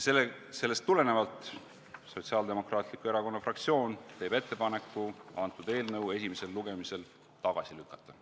Sotsiaaldemokraatliku Erakonna fraktsioon teeb ettepaneku eelnõu esimesel lugemisel tagasi lükata.